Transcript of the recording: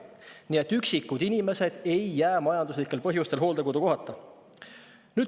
Nii et üksikud inimesed ei jää majanduslikel põhjustel hooldekodukohata.